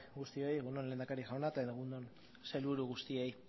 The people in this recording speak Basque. guztioi egun on lehendakari jauna eta egun on sailburu guztiei